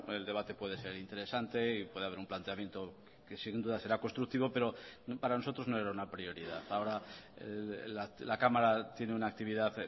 el debate puede ser interesante y puede haber un planteamiento que sin duda será constructivo pero para nosotros no era una prioridad ahora la cámara tiene una actividad